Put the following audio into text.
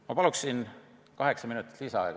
Ma palun lisaaega!